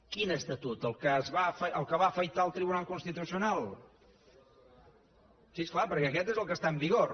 quin estatut el que va afaitar el tribunal constitucional sí és clar perquè aquest és el que està en vigor